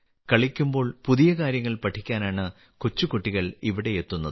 കളിക്കുമ്പോൾ പുതിയ കാര്യങ്ങൾ പഠിക്കാനാണ് കൊച്ചുകുട്ടികൾ ഇവിടെയെത്തുന്നത്